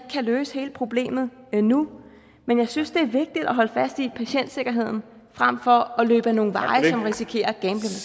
kan løse hele problemet nu men jeg synes at det er vigtigt at holde fast i patientsikkerheden frem for at løbe ad nogle veje hvor vi risikerer